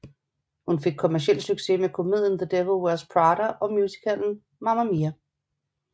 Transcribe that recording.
Hun fik kommerciel succes med komedien The Devil Wears Prada og musicalen Mamma Mia